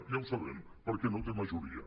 ja ho sabem perquè no té majoria